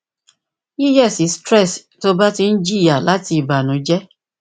yiyesi stress ti o ba ti n jiya lati ibanujẹ